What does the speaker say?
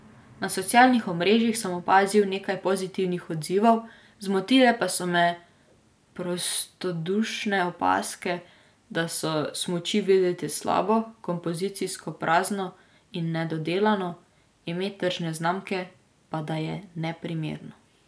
Na socialnih omrežjih sem opazil nekaj pozitivnih odzivov, zmotile pa so me prostodušne opazke, da so smuči videti slabo, kompozicijsko prazno in nedodelano, ime tržne znamke pa da je neprimerno.